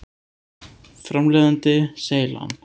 Framleiðandi: Seylan.